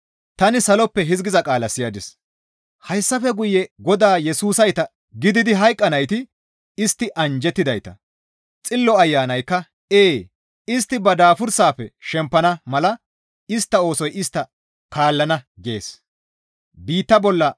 Tani saloppe hizgiza qaala siyadis; «Hayssafe guye Godaa Yesusayta gididi hayqqanayti istti anjjettidayta.» Xillo Ayanaykka, «Ee, istti ba daabursafe shempana mala istta oosoy istta kaallana» gees.